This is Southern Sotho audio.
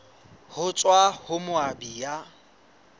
ho tswa ho moabi ya